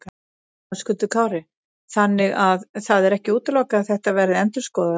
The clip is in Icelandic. Höskuldur Kári: Þannig að það er ekki útilokað að þetta verði endurskoðað?